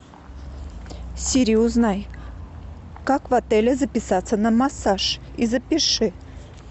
сири узнай как в отеле записаться на массаж и запиши